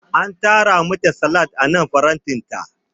An tara mata salad anan farantinta.